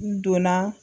N donna